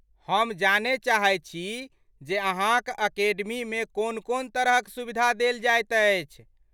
हम जानय चाहैत छी जे अहाँक अकेडमीमे कोन कोन तरहक सुविधा देल जाइत अछि।